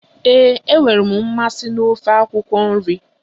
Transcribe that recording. Ee, enwere m mmasị na ofe akwụkwọ nri